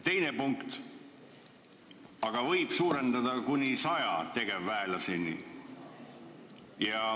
Teine punkt: aga isikkoosseisu võib suurendada kuni 100 tegevväelaseni.